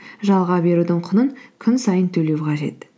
жалға берудің құнын күн сайын төлеу қажет